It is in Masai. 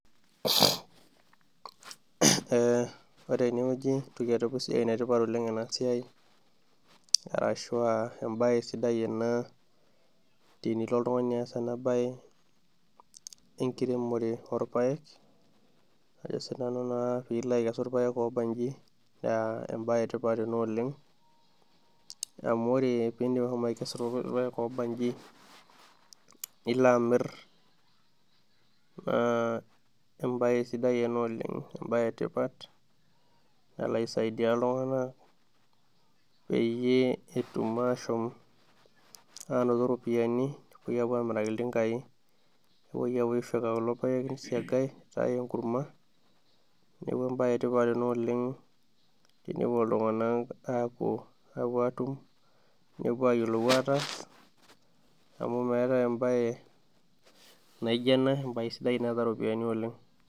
Ore teneweji naa enetipat oleng ena siai ,arashu embae sidai ena tenilo oltungani aas ena bae enkiremore orpaek ,pee ilo aikesu irpaek oobanji naa embae ina etipat oleng, amu ore pee ilo aikesu irpaek oobanji nilo amir naa embae sidai ena oleng. embae etipat nalo aisaidia iltunganak peyie etum ashomo anoto ropiyiani nepoi amiraki iltinkai ,nepoi aisiang kulo paek nitae enkurma neeku embae etipat ina oleng tenepuo iltunganak apuo atum, nepuo ayiolou ataasa amu meetae embae naijo ena embae sidai naata ropiyiani.